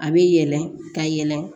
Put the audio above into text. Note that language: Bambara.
A bɛ yɛlɛ ka yɛlɛ